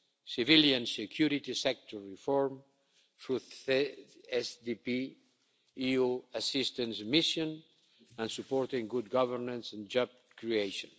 civilian security sector reform through the CSDP EU assistance mission and supporting good governance and job creation.